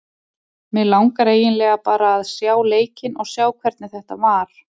Mig langar eiginlega bara að sjá leikinn og sjá hvernig þetta var.